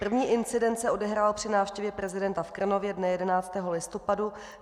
První incident se odehrál při návštěvě prezidenta v Krnově dne 11. listopadu.